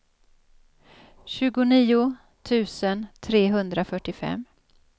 tjugonio tusen trehundrafyrtiofem